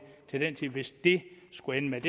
hvis det skulle ende med